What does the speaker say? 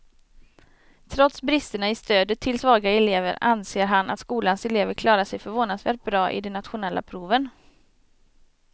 Trots bristerna i stödet till svaga elever anser han att skolans elever klarar sig förvånansvärt bra i de nationella proven.